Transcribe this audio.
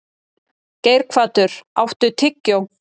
Geirhvatur, áttu tyggjó?